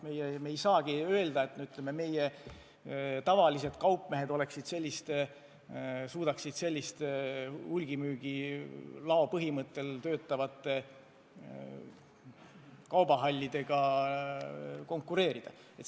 Me ei saa loota, et tavalised kaupmehed suudaksid selliste hulgimüügilao põhimõttel töötavate kaubahallidega konkureerida.